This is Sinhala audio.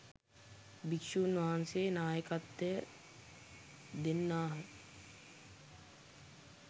භික්‍ෂුන් වහන්සේ නායකත්වය දෙන්නාහ